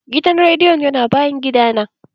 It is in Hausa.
Gidan rediyon yana bayan gidana.